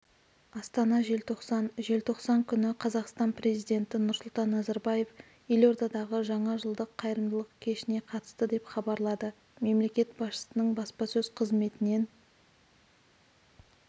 астана желтоқсан желтоқсан күні қазақстан президенті нұрсұлтан назарбаев елордадағы жаңа жылдық қайырымдылық кешіне қатысты деп хабарлады мемлекет басшысының баспасөз қызметінен